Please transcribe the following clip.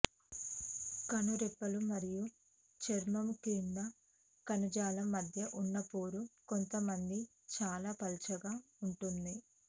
కనురెప్పలు మరియు చర్మము క్రింద కణజాలం మధ్య ఉన్న పొర కొంతమంది చాలా పలుచగా ఉంటుంది